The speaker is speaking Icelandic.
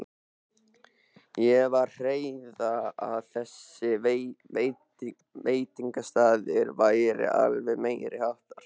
Ég var að heyra að þessi veitingastaður væri alveg meiriháttar!